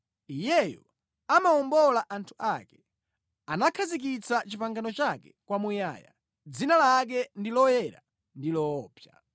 Iyeyo amawombola anthu ake; anakhazikitsa pangano lake kwamuyaya dzina lake ndi loyera ndi loopsa.